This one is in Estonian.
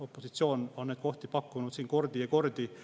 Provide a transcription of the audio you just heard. Opositsioon on neid kohti pakkunud siin kordi ja kordi.